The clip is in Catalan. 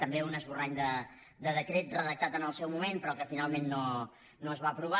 també un esborrany de decret redactat en el seu moment però que finalment no es va aprovar